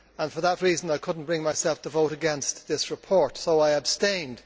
For that reason I could not bring myself to vote against this report, so I abstained.